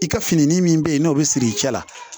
I ka fini min be yen n'o be siri i cɛ la